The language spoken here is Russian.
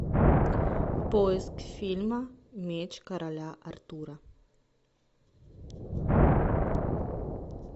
поиск фильма меч короля артура